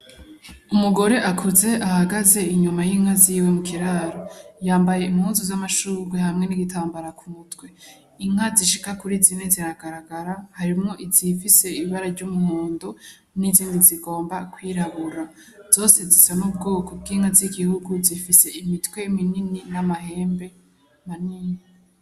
Umugore akuze ahagaze inyuma y'inka ziwe mu kiraro yambaye imuzu z'amashurwe hamwe n'igitambara k'umutwe inka zishika kuri zini ziragaragara harimwo izifise ibara ry'umu mondo n'izindi zigomba kwirabura zose zisa n'ubwoko bw'inka z'igihugu zifise imitwe minini n'amae hembe maninyi.